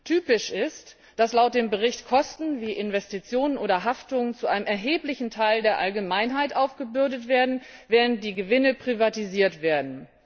Typisch ist, dass laut dem Bericht Kosten wie Investitionen oder Haftung zu einem erheblichen Teil der Allgemeinheit aufgebürdet werden, während die Gewinne privatisiert werden.